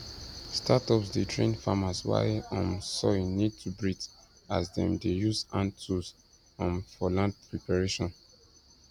startups dey train farmers why um soil need to breathe as dem dey use hand tools um for land preparation